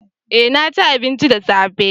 eh naci abinci da safe